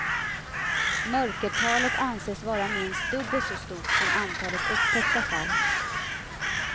Mörkertalet anses vara minst dubbelt så stort som antalet upptäckta fall.